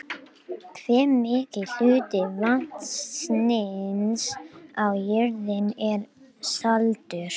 Mynd: Sveitarfélagið Árborg